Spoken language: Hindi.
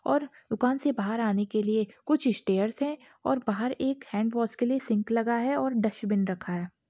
और दुकान से बाहर आने के लिए कुछ स्टैर्स है और बाहर एक हैन्ड वॉश के लिए सिंक लगा है और डस्टबिन रखा है।